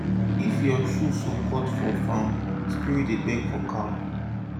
if your shoe sole cut for farm spirit dey beg for calm